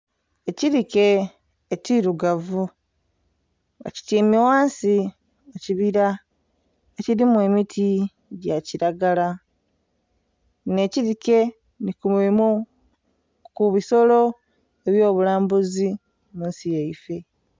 Ekilike ekirugavu nga kityaime ghansi mu kibila ekilimu emiti gya kilagala. Kinho ekilike nhi ku bimu ku bisolo ebyo bulambuzi munsi yaife.